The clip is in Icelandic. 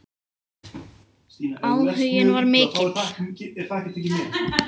Áhuginn var mikill.